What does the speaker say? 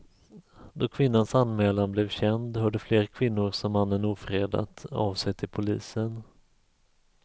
Då kvinnans anmälan blev känd hörde fler kvinnor som mannen ofredat av sig till polisen.